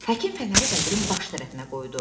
Həkim fənəri qəbrin baş tərəfinə qoydu.